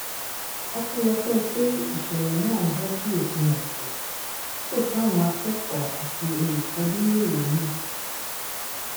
ọpẹlọpẹ pé ìṣẹlẹ náà bọ sí òpin ọsẹ tí kò sáwọn akẹkọọ àti olùkọ níléèwé náà